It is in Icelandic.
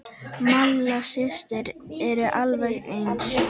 Malla systir eru alveg eins.